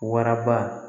Waraba